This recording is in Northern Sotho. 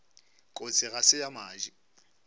kotsi ga se ya madi